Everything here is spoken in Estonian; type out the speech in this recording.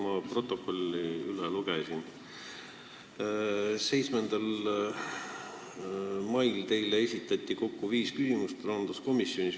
Ma lugesin protokolli üle: 7. mail esitati teile rahanduskomisjonis kokku viis küsimust.